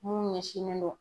Mun ɲɛsinnen do